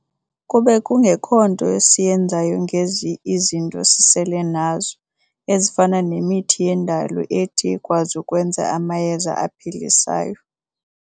kube kungekho nto siyenzayo ngezi izinto sisele nazo, ezifana nemithini yendalo ethi ikwazi ukwenza amayeza aphilisayo.